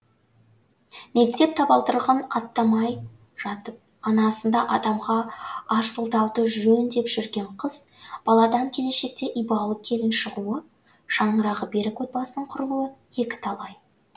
мектеп табалдырығын аттамай жатып анасында адамға арсылдауды жөн деп жүрген қыз баладан келешекте ибалы келін шығуы шаңырағы берік отбасының құрылуы екі талай